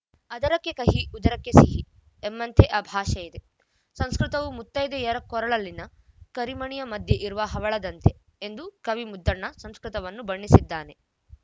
ಅದರಕ್ಕೆ ಕಹಿ ಉದರಕ್ಕೆ ಸಿಹಿ ಎಂಬಂತೆ ಆ ಭಾಷೆ ಇದೆ ಸಂಸ್ಕೃತವು ಮುತ್ತೈದೆಯರ ಕೊರಳಲ್ಲಿನ ಕರಿಮಣಿಯ ಮಧ್ಯೆ ಇರುವ ಹವಳದಂತೆ ಎಂದು ಕವಿ ಮುದ್ದಣ್ಣ ಸಂಸ್ಕೃತವನ್ನು ಬಣ್ಣಿಸಿದ್ದಾನೆ